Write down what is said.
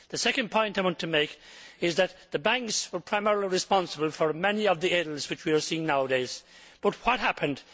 The second point I want to make is that the banks were primarily responsible for many of the ills which we are seeing nowadays, but what happened?